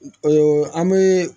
an bɛ